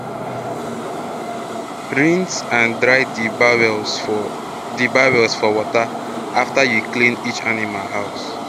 rinse and dry d bowls for d bowls for water afta u clean each animal house